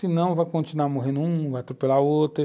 Se não, vai continuar morrendo um, vai atropelar outro.